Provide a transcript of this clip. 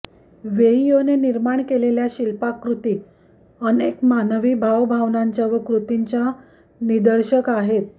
वेइयोने निर्माण केलेल्या शिल्पाकृती अनेक मानवी भावभावनांच्या व कृतींच्या निदर्शक आहेत